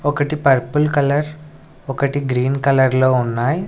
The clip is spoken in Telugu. ఒకటి పర్పుల్ కలర్ ఒకటి గ్రీన్ కలర్ లో ఉన్నాయి.